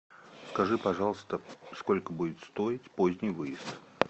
скажи пожалуйста сколько будет стоить поздний выезд